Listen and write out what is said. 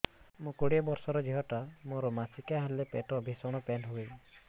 ମୁ କୋଡ଼ିଏ ବର୍ଷର ଝିଅ ଟା ମୋର ମାସିକିଆ ହେଲେ ପେଟ ଭୀଷଣ ପେନ ହୁଏ